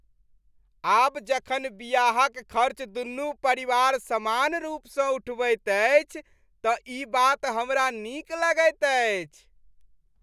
आब जखन बियाहक खर्च दुनू परिवार समान रूपसँ उठबैत अछि तँ ई बात हमरा नीक लगैत अछि।